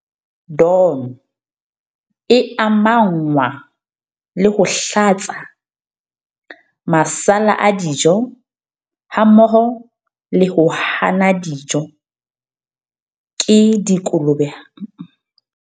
DON e amanngwa le ho hlatsa, masala a dijo hammoho le ho hana dijo ke dikolobe hammoho le phepo e fokotsehileng ya tsona. Tsena tsohle di ka ama bophelo le tshebetso ya tsona.